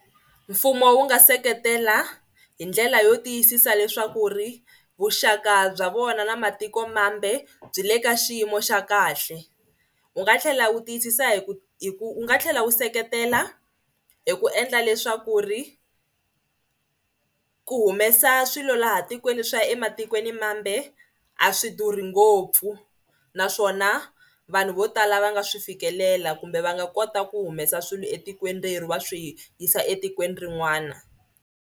Mfumo wu nga seketela hi ndlela yo tiyisisa leswaku ri vuxaka bya vona na matikomambe byi le ka xiyimo xa kahle. Wu nga tlhela wu tiyisisa hi ku hi ku wu nga tlhela wu seketela hi ku endla leswaku ri ku humesa swilo laha tikweni swi ya ematikwenimambe a swi durhi ngopfu naswona vanhu vo tala va nga swi fikelela kumbe va nga kota ku humesa swilo etikweni va swi yisa etikweni rin'wana.